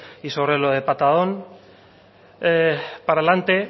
y sobre lo de patadón para adelante